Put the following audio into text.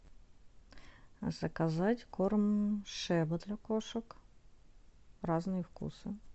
заказать корм шеба для кошек разные вкусы